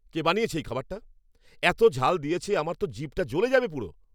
কে বানিয়েছে এই খাবারটা? এতো ঝাল দিয়েছে আমার তো জিভটা জ্বলে যাবে পুরো!